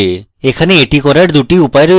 এখানে এটি করার দুটি উপায় রয়েছে